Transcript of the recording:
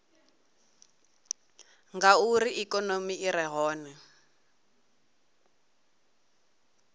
ngauri ikonomi i re hone